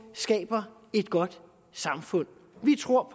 skaber et godt samfund vi tror